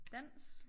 Dans